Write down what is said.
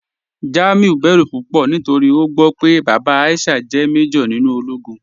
Jamiu bẹ̀rù púpọ̀ nítorí o gbọ́ pé bàbá Aisha jẹ́ màjọ̀r nínú òlógún.